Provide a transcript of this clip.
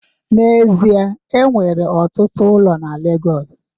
N'ezie, e nwere ọtụtụ ụlọ na Legọs